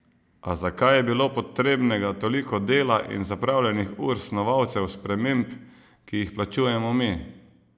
A zakaj je bilo potrebnega toliko dela in zapravljenih ur snovalcev sprememb, ki jih plačujemo mi?